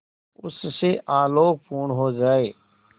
उससे आलोकपूर्ण हो जाए